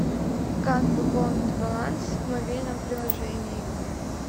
как пополнить баланс в мобильном приложении